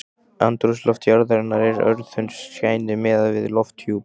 Andrúmsloft jarðarinnar er örþunnt skæni miðað við lofthjúp